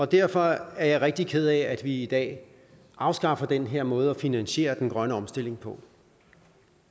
derfor er jeg rigtig ked af at vi i dag afskaffer den her måde at finansiere den grønne omstilling på